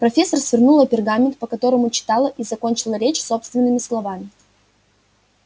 профессор свернула пергамент по которому читала и закончила речь собственными словами